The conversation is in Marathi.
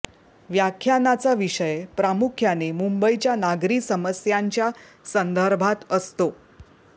व्याख्यानाचा विषय प्रामुख्याने मुंबईच्या नागरी समस्यांच्या संदर्भात असतो